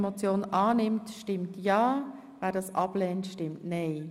Wer diese annimmt, stimmt ja, wer sie ablehnt, stimmt nein.